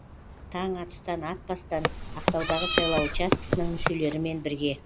таң атыстан атпастан ақтаудағы сайлау учаскісінің мүшелерімен бірге